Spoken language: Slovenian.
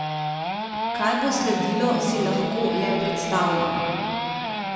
Kaj bo sledilo, si lahko le predstavljamo.